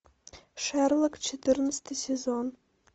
шерлок четырнадцатый сезон